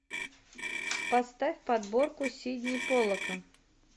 поставь подборку сидни полока